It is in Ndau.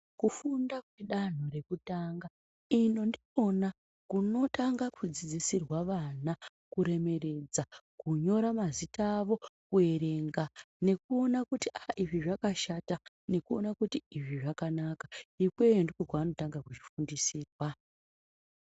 Kufunda kwedanho rekutanga ino ndikona kunotanga kudzidzisirwa vana kuremeredza. Kunyora mazita avo kuverenga nekuona kuti aa izvi zvakashata nekuona kuti izvi zvakanaka. Ikweyo ndikokwanotanga kuzvifundisirwa.